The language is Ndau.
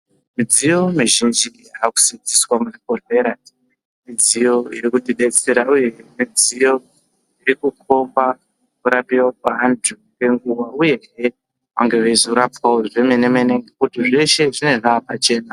Mudziyo muzhinji iri kusidzwa muzvibhehlera mudziyo irikutidetsera uye mudziyo yakutikomba kurapiwa kweandu ngenguwa uyezve vange veizorapwe zvamenemene ngekuti zveshe zvinenge zvapachena